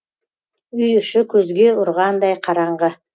үйі іші көзге ұрғандай қараңғы